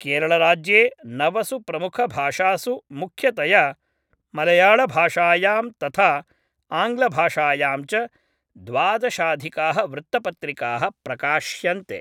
केरळराज्ये नवसु प्रमुखभाषासु मुख्यतया मलयाळभाषायां तथा आङ्ग्लभाषायां च द्वादशाधिकाः वृत्तपत्रिकाः प्रकाश्यन्ते।